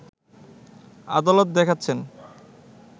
আদালত দেখাচ্ছেন